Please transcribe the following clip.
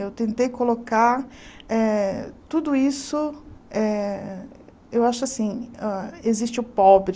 Eu tentei colocar eh tudo isso eh, eu acho assim, ah existe o pobre.